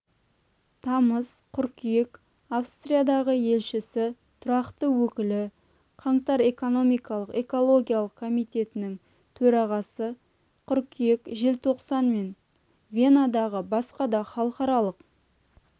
тамыз қыркүйек австриядағы елшісі тұрақты өкілі қаңтар экономикалық-экологиялық комитетінің төрағасы қыркүйек-желтоқсан мен венадағы басқа да халықаралық